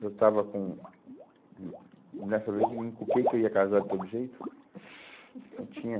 Eu estava com... Hum, nessa vez, encuquei que eu ia casar de todo jeito. Eu tinha